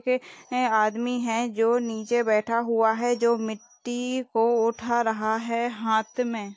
है आदमी है जो नीचे बैठा हुआ है जो मिटटी को उठा रहा है हाथ में --